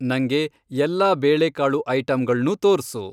ನಂಗೆ ಎಲ್ಲಾ ಬೇಳೆಕಾಳು ಐಟಂಗಳ್ನೂ ತೋರ್ಸು.